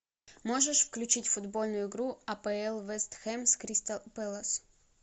можешь включить футбольную игру апл вест хэм с кристал пэлас